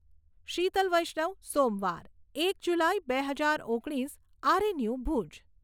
શીતલ વૈષ્ણવ સોમવાર, એક જુલાઈ બે હજાર ઓગણીસ આરએનયુ ભૂજ